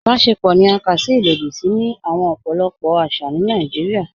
Ìbàṣẹ̀pọ̀ ni à ká sí ilòdì sí ni ọpọlọpọ̀ awọn àṣà ni Naijíríà.